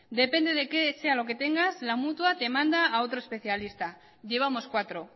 depende de qué sea lo que tengas la mutua te manda a otro especialista llevamos cuatro